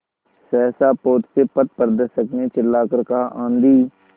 सहसा पोत से पथप्रदर्शक ने चिल्लाकर कहा आँधी